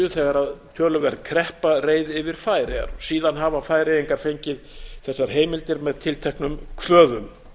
þegar töluverð kreppa reið yfir færeyjar síðan hafa færeyingar fengið þessar heimildir með tilteknum kvöðum